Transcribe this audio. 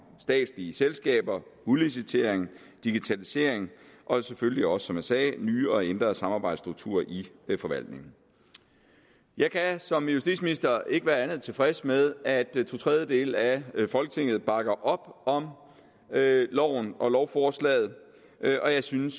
statslige selskaber udlicitering digitalisering og selvfølgelig også som jeg sagde nye og ændrede samarbejdsstrukturer i forvaltningen jeg kan som justitsminister ikke være andet end tilfreds med at totredjedele af folketinget bakker op om loven og lovforslaget og jeg synes